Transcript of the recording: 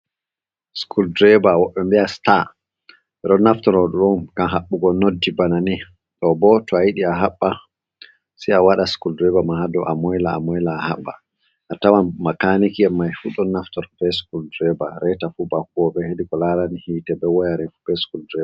Skul dreba, woɓɓe ɗo mbi'a star. Ɓedo naftiro ɗum ngam haɓɓugo nodji bana ni, ɗo bo to a yidi a haɓɓa sai a waɗa skul dreba man haɗo a moyla a moyla a haɓɓa, a tawan makaniki en mai fu ɗo naftiro be skul dreba, reta fu ba huwoɓe heydi ko larani hite, ɓe woyarin, be skul dreba.